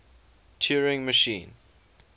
turing machine